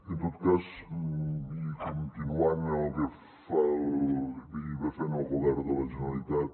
en tot cas i continuant el que fa i va fent el govern de la generalitat